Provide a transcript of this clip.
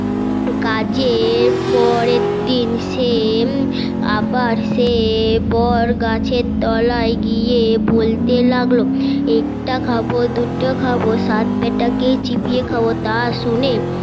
কাজে পরের দিন সে আবার সে বড গাছের তলায় গিয়ে বলতে লাগলো একটা খাবো দুটো খাবো সাত বেটা কেই চিবিয়ে লাগলো